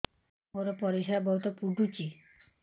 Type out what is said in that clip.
ମୋର ପରିସ୍ରା ବହୁତ ପୁଡୁଚି